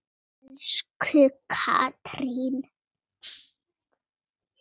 Elsku Katrín.